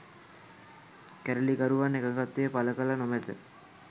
කැරලිකරුවන් එකඟත්වය පළ කර නොමැත